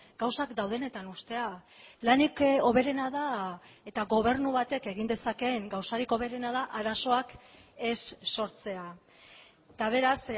gauzak daudenetan uztea lanik hoberena da eta gobernu batek egin dezakeen gauzarik hoberena da arazoak ez sortzea eta beraz